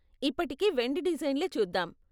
ఇప్పటికి వెండి డిజైన్లే చూద్దాం.